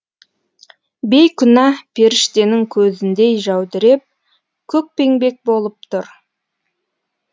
бейкүнә періштенің көзіндей жәудіреп көкпеңбек болып тұр